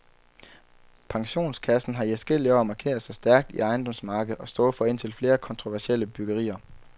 Pensionskassen har i adskillige år markeret sig stærkt i ejendomsmarkedet og stået for indtil flere kontroversielle byggerier.